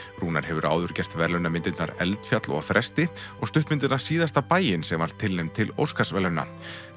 Rúnar hefur áður gert verðlaunamyndirnar eldfjall og Þresti og stuttmyndina síðasta bæinn sem var tilnefnd til Óskarsverðlauna